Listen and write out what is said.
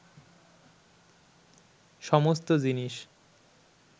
সমস্ত জিনিস